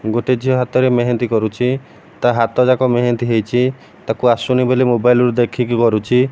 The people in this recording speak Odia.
ଗୋଟେ ଝିଅ ହାତରେ ମେହେନ୍ଦି କରୁଚି ତା ହାତ ଯାକ ମେହେନ୍ଦି ହେଇଚି ତାକୁ ଆସୁନି ବୋଲି ମୋବାଇଲ ରୁ ଦେଖିକି କରୁଚି ।